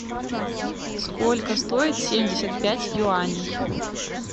сколько стоит семьдесят пять юаней